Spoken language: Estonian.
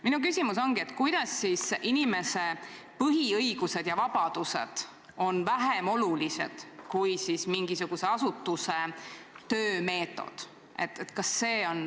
Minu küsimus ongi: kuidas siis inimese põhiõigused ja vabadused on vähem olulised kui mingisuguse asutuse töömeetod?